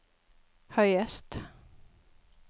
høyest